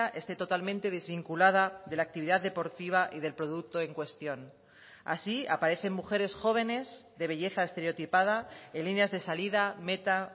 esté totalmente desvinculada de la actividad deportiva y del producto en cuestión así aparecen mujeres jóvenes de belleza estereotipada en líneas de salida meta